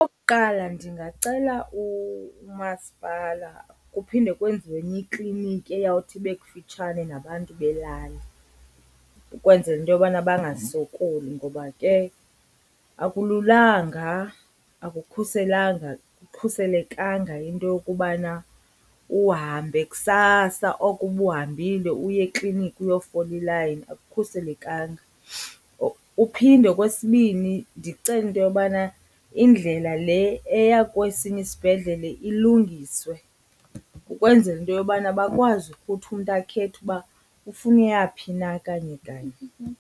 Okokuqala ndingacela umasipala kuphinde kwenziwe enye ikliniki eyawuthi ibe kufitshane nabantu belali ukwenzela into yobana bangasokoli ngoba ke akululanga, akukhuselanga akukhuselekanga into yokubana uhambe kusasa oko ubuhambile uye ekliniki uyofola ilayini, akukhuselekanga. Uphinde okwesibini ndicele into yobana indlela le eya kwesinye isibhedlele ilungiswe ukwenzela into yobana bakwazi ukuthi umntu akhethe uba ufuna uyaphi na kanye kanye.